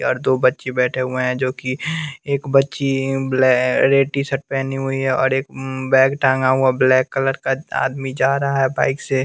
यार दो बच्चे बैठे हुए है जो की एक बच्ची रेड टी शर्ट पेहनी हुई है और एक बैग टांगा हुआ ब्लैक कलर का आदमी था रहा है बाइक से।